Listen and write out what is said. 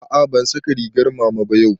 A'a ban saka rigar mama ba yau